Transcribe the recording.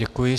Děkuji.